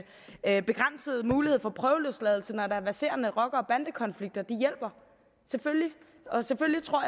at begrænsede muligheder for prøveløsladelse når der er verserende rocker og bandekonflikter hjælper selvfølgelig og selvfølgelig tror